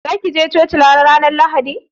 Za ki je coki Lahadi mai zuwa?